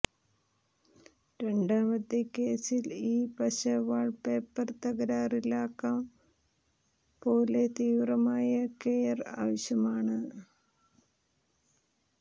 രണ്ടാമത്തെ കേസിൽ ഈ പശ വാൾപേപ്പർ തകരാറിലാക്കാം പോലെ തീവ്രമായ കെയർ ആവശ്യമാണ്